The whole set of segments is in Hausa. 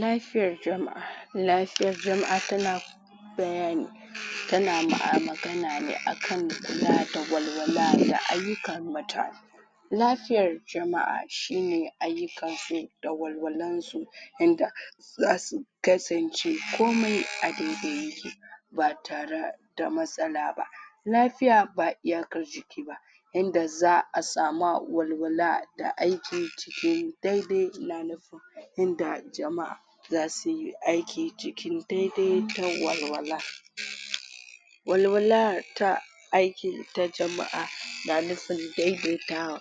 lafiyar jama'a lafiyar jama'a tana bayani tana magana ne akan kula da walwala da ayyukan mutane lafiyar jama'a shi ne ayyukan su da walwalan su yanda zasu kasance komai a dai-dai yake ba tara da matsala ba lafiya ba iyakar jiki ba yanda za'a sama walwala da aiki cikin dai-dai yanda jama'a zasu yi aiki cikin dai-dai da walwala walwala ta aiki ta jama'a na nufin dai-dai ta wa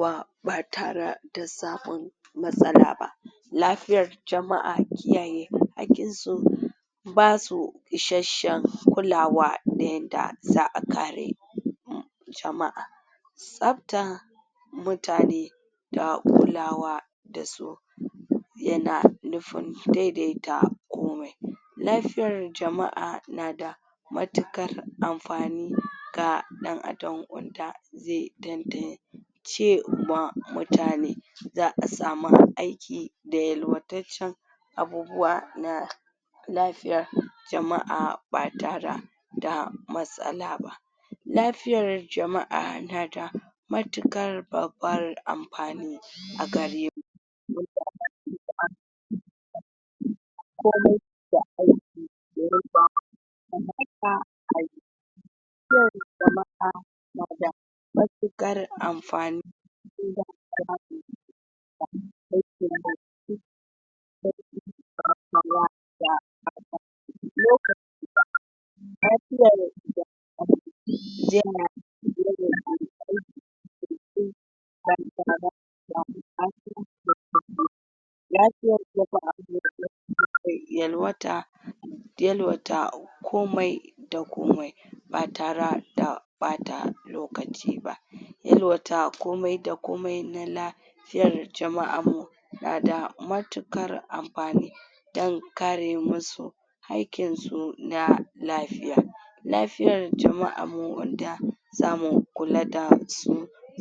wa ba tare da samun matsala ba lafiyar jama'a kiyaye haƙƙin su ba su ishashshen kulawa na yanda za'a kare jama'a tsabta mutane da kulawa da su yana nufin dai-dai ta komai lafiyar jama'a na da matuƙar amfani ga ɗan Adam wanda ze tan-tan ce wa mutane za'a sama aiki da yalwataccen abubuwa na lafiya jama'a ba tara da matsala ba lafiyar jama'a na da matuƙar babbar amfani a gare mu komai jama'a na da matuƙar amfani yalwata da yalwata komai da komai ba tara da ɓata lokaci ba yalwata komai da komai na la fiyar jama'an mu na da matuƙar amfani dan kare mu su hakkin su na lafiya lafiyar jama'an mu wanda zamu kula da su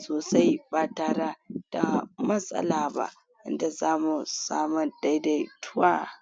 sosai ba tara da matsala ba wanda zamu sama dai-dai tuwa